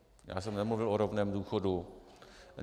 Já jsem nemluvil o rovném důchodu.